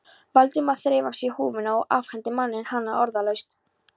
Valdimar þreif af sér húfuna og afhenti manninum hana orðalaust.